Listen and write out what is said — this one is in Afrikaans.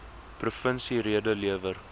provinsie rede lewer